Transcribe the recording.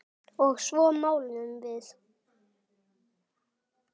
Og svo máluðum við.